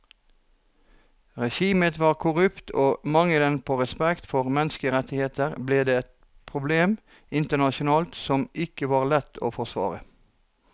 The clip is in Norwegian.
Regimet var korrupt og mangelen på respekt for menneskerettigheter ble et problem internasjonalt som ikke var lett å forsvare.